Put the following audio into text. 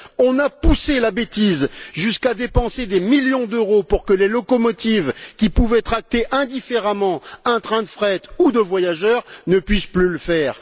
On a poussé la bêtise jusqu'à dépenser des millions d'euros pour que les locomotives, qui pouvaient tracter indifféremment un train de fret ou de voyageurs, ne puissent plus le faire.